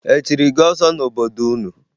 E chiri gị ọzọ n'obodo unu?